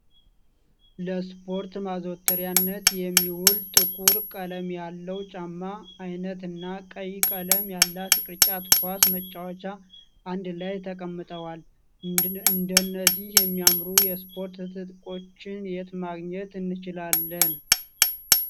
ለስፖርት ማዘውተሪያነት የሚውል ጥቁር ቀለም ያለው ጫማ አይነት እና ቀይ ቀለም ያላት ቅርጫት ኳስ መጫወቻ አንድ ላይ ጠቀምጠዋል። እንደነዚህ የሚያምሩ የስፖርት ትጥቆች የት ማግኘት እንችላለን?